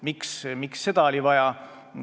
Miks seda vaja oli?